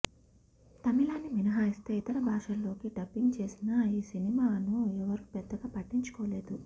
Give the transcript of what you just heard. తమిళాన్ని మినహాయిస్తే ఇతర భాషల్లోకి డబ్బింగ్ చేసినా ఈ సినిమాను ఎవరూ పెద్దగా పట్టించుకోలేదు